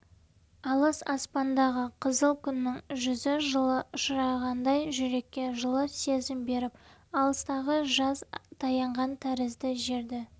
алыс аспандағы қызыл күннің жүзі жылы ұшырағандай жүрекке жылы сезім беріп алыстағы жаз таянған тәрізді жерді